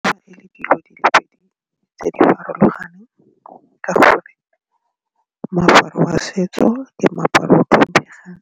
Fa e le dilo di le pedi tse di farologaneng ka gore moaparo wa setso le meaparo o o tlhomphegang